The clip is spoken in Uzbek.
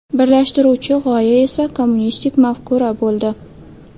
Birlashtiruvchi g‘oya esa kommunistik mafkura bo‘ldi.